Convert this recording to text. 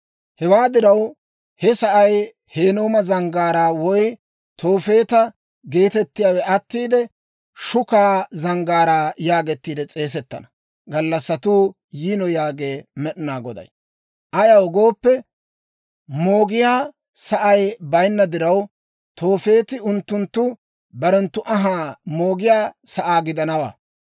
Hewaa diraw, he sa'ay Hinnooma Zanggaaraa woy Toofeeta geetettiyaawe attiide, Shukaa Zanggaaraa yaagettiide s'eesettana gallassatuu yiino yaagee Med'inaa Goday. Ayaw gooppe, moogiyaa sa'ay bayinna diraw, Toofeeti unttunttu barenttu anhaa moogiyaa sa'aa gidanawaa.